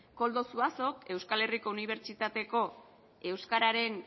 koldo zuazo euskal herriko unibertsitateko euskararen